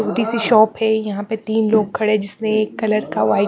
छोटी सी शॉप है यहां पे तीन लोग खड़े जिसने एक कलर का व्हाइट --